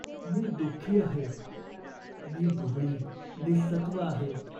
मी दुखी आहे. मी दुबळी, निसत्त्व आहे.